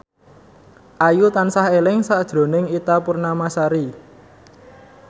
Ayu tansah eling sakjroning Ita Purnamasari